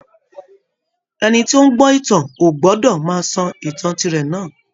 Ẹni tí ó ń gbọ́ ìtàn ò gbọdọ̀ máa sọ ìtàn tirẹ̀ náà